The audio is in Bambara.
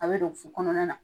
A be don fo kɔnɔna na